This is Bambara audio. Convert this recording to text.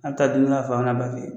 An bɛ taa don dɔ la a fa n'a ba fɛ